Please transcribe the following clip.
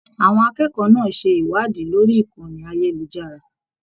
Àwọn akẹ́kọ̀ọ́ náà ṣe iṣẹ ìwàádí lórí ìkànnì ayelujara.